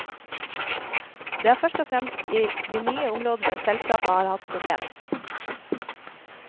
Det er først og fremst i de nye områdene selskapet har hatt problemer.